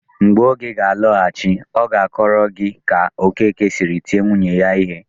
Mgbe Ugo ga-alọghachi, ọ ga-akọrọ gị ka Okeke siri tie nwunye ya ihe.